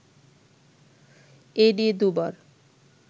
এ নিয়ে দুবার